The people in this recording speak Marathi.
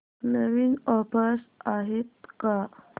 नवीन ऑफर्स आहेत का